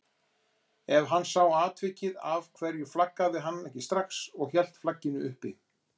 Ef hann sá atvikið af hverju flaggaði hann ekki strax og hélt flagginu uppi?